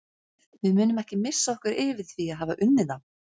Við munum ekki missa okkur yfir því að hafa unnið þá.